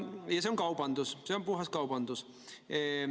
See on kaubandus, see on puhas kaubandus.